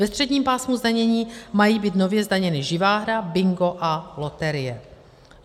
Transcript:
Ve středním pásmu zdanění mají být nově zdaněny živá hra, bingo a loterie.